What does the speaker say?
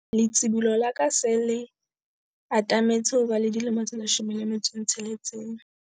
letsibolo la ka le se le atametse ho ba le dilemo tse 16.